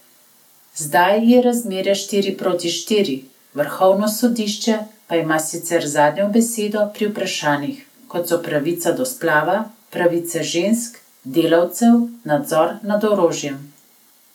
Zdaj je razmerje štiri proti štiri, vrhovno sodišče pa ima sicer zadnjo besedo pri vprašanjih, kot so pravica do splava, pravice žensk, delavcev, nadzor nad orožjem ...